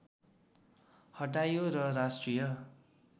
हटाइयो र राष्ट्रिय